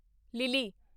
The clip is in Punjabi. ਲਿਲੀ